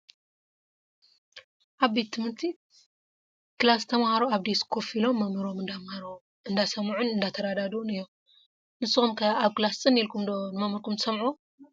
ኣብ ቤት ትምህርቲ ክላስ ተማሃሮ ኣብ ዴስክ ኮፍ ኢሎም መምህሮም እንዳማሃሮም እንዳሰምዑን እንዳተረድኡን እዮም። ንሱም ከ ኣብ ክላስ ፅን ኢልኩም ዶ ንመምህርኩም ትሰምዕዎ?